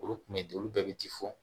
Olu kun bɛ olu bɛɛ bɛ ti fɔ